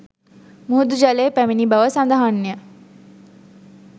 මුහුදු ජලය පැමිණි බව සඳහන්ය